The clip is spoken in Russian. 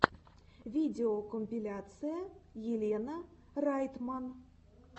видеокомпиляция елена райтман